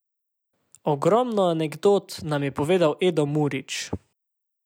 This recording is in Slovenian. Ogromno anekdot nam je povedal Edo Murič.